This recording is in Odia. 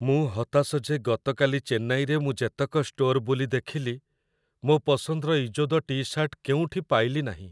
ମୁଁ ହତାଶ ଯେ ଗତକାଲି ଚେନ୍ନାଇରେ ମୁଁ ଯେତେକ ଷ୍ଟୋର ବୁଲି ଦେଖିଲି ମୋ' ପସନ୍ଦର ଇଜୋଦ ଟି ସାର୍ଟ କେଉଁଠି ପାଇଲି ନାହିଁ।